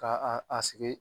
Ka a sigi